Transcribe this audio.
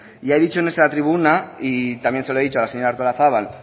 ya he dicho en esta tribuna y también se lo he dicho a la señora artolazabal